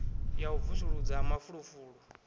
ya u vusuludza ha mafulufulu